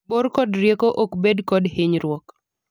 bor kod rieko ok bed kod hinyruok